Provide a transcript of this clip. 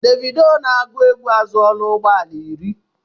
Davidoo na-agụ égwu azụọla ụgbọala irí